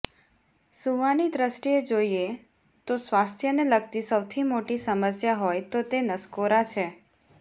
સૂવાની દ્રષ્ટિએ જોઇએ તો સ્વાસ્થ્યને લગતી સૌથી મોટી સમસ્યા હોય તો તે નસકોરાં છે